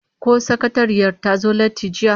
Ko sakatariyar ta zo latti jiya?